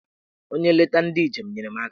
Onye nleta ndị njem! nyere m aka